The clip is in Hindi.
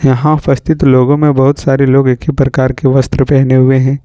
यहां उपस्थित लोगों में बहुत सारे लोग एक ही प्रकार के वस्त्र पहने हुए हैं।